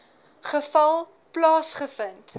geval plaasge vind